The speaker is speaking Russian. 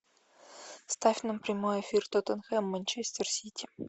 ставь нам прямой эфир тоттенхэм манчестер сити